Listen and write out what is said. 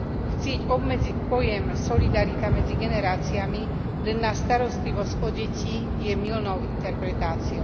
Chcieť obmedziť pojem solidarita medzi generáciami len na starostlivosť o deti je mylnou interpretáciou.